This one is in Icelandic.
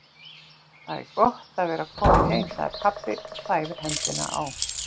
Það er gott að vera kominn heim, segir pabbi og þæfir hendina á